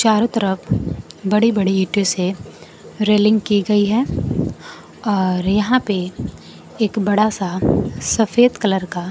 चारों तरफ बड़ी बड़ी ईंटों से रेलिंग की गई है और यहां पे एक बड़ा सा सफेद कलर का--